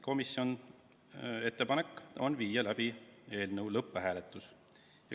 Komisjoni ettepanek on viia läbi eelnõu lõpphääletus.